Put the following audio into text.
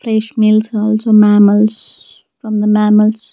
Fresh meals also mammals from the mammals.